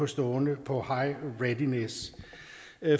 stående på high readiness